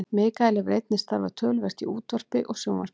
mikael hefur einnig starfað töluvert í útvarpi og sjónvarpi